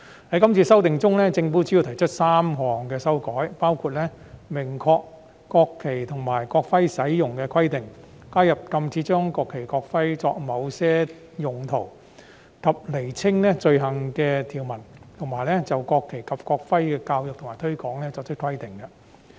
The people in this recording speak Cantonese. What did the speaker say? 在今次修訂中，政府主要提出3項修正，包括明確國旗及國徽使用的規定；加入禁止將國旗、國徽作某些用途及釐清有關罪行的條文，以及就國旗及國徽的教育和推廣作出規定。